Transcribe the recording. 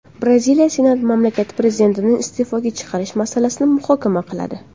Braziliya senati mamlakat prezidentini iste’foga chiqarish masalasini muhokama qiladi.